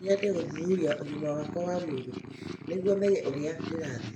No nyende gũthuthuria ũgima wakwa wa mwĩrĩ nĩguo menye ũrĩa ndĩrathiĩ